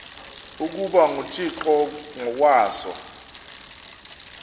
ukuba nguthixo ngokwaso